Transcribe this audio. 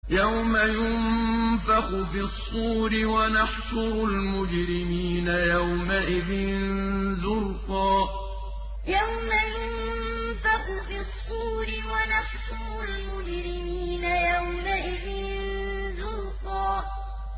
يَوْمَ يُنفَخُ فِي الصُّورِ ۚ وَنَحْشُرُ الْمُجْرِمِينَ يَوْمَئِذٍ زُرْقًا يَوْمَ يُنفَخُ فِي الصُّورِ ۚ وَنَحْشُرُ الْمُجْرِمِينَ يَوْمَئِذٍ زُرْقًا